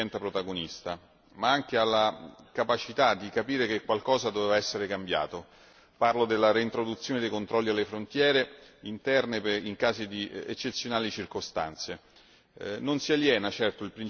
insieme agli Stati membri e alle agenzie, diventa protagonista, ma anche alla capacità di capire che qualcosa doveva essere cambiato parlo della reintroduzione dei controlli alle frontiere interne in casi di eccezionali circostanze.